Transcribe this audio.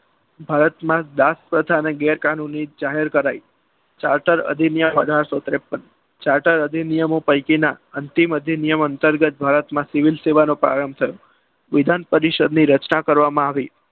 ભારતમાં દાસ અચાનક જાહેર કરાઈ ચાર્ટર અધિનિયમ અઢારસો ત્રેપ્પન charter ચાર્ટર અધિનિયમો પૈકીના અધિનિયમ અંતર્ગત ભારતમાં સિવિલ પાયો થયો વિધાન પરિષદની રચના કરવામાં આવી.